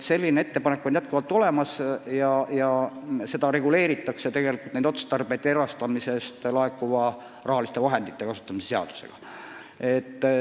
Selline ettepanek on tehtud ja neid otstarbeid reguleeritakse tegelikult erastamisest laekuva raha kasutamise seadusega.